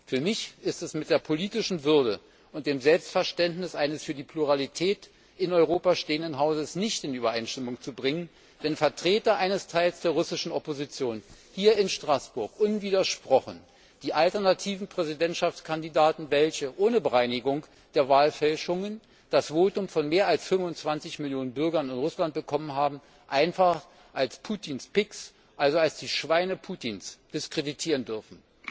Für mich ist es mit der politischen Würde und dem Selbstverständnis eines für die Pluralität in Europa stehenden Hauses nicht in Übereinstimmung zu bringen, wenn Vertreter eines Teils der russischen Opposition hier in Straßburg unwidersprochen die alternativen Präsidentschaftskandidaten, welche ohne Bereinigung der Wahlfälschungen das Votum von mehr als fünfundzwanzig Millionen Bürgern in Russland bekommen haben, einfach als Putins Pigs, also als die Schweine Putins diskreditieren dürfen.